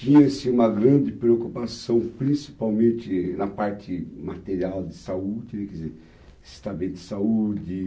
Tinha-se uma grande preocupação, principalmente na parte material de saúde, quer dizer, estar bem de saúde.